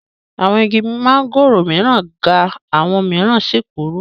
Awọn igi mángòrò mìíràn ga àwọn mìíràn sì kúrú.